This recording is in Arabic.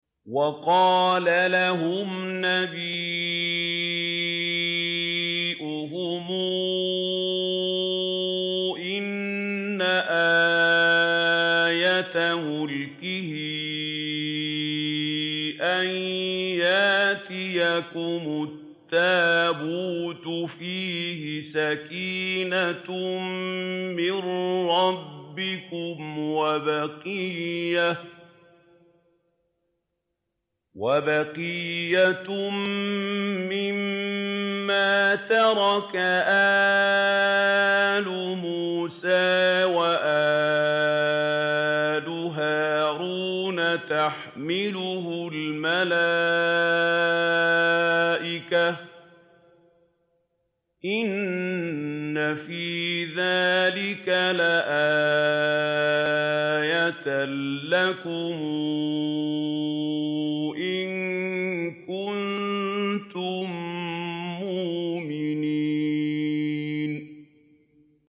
وَقَالَ لَهُمْ نَبِيُّهُمْ إِنَّ آيَةَ مُلْكِهِ أَن يَأْتِيَكُمُ التَّابُوتُ فِيهِ سَكِينَةٌ مِّن رَّبِّكُمْ وَبَقِيَّةٌ مِّمَّا تَرَكَ آلُ مُوسَىٰ وَآلُ هَارُونَ تَحْمِلُهُ الْمَلَائِكَةُ ۚ إِنَّ فِي ذَٰلِكَ لَآيَةً لَّكُمْ إِن كُنتُم مُّؤْمِنِينَ